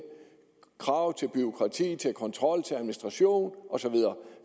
krav til bureaukrati til kontrol til administration osv